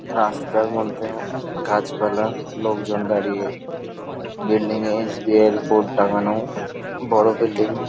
রাস্তার মধ্যে গাছপালা লোকজন দাঁড়িয়ে বিল্ডিং - এ এস.বী.আই. - এর বোর্ড টাঙ্গানো বড় বিল্ডিং ।